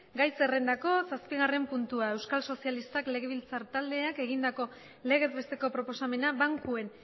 gai zerrendako zazpigarren puntua euskal sozialistak legebiltzar taldeak egindako legez besteko proposamena bankuen